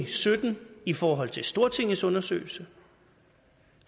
sytten i forhold til stortingets undersøgelse